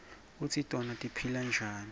kutsi tona tiphila njani